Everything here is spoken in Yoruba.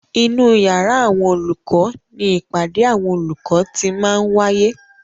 Inú yàrá àwọn olùkọ ni ìpàdé àwọn olùkọ ti máa ń wáyé.